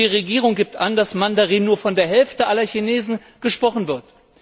Und die Regierung gibt an, dass Mandarin nur von der Hälfte aller Chinesen gesprochen wird.